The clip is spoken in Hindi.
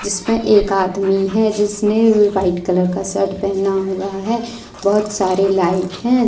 जिसमें एक आदमी है जिसने व्हाइट कलर का शर्ट पहना हुआ है बहोत सारे लाइट है।